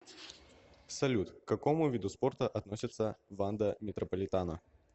салют к какому виду спорта относится ванда метрополитано